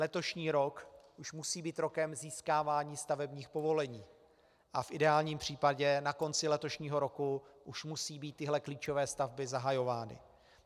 Letošní rok už musí být rokem získávání stavebních povolení a v ideálním případě na konci letošního roku už musí být tyhle klíčové stavby zahajovány.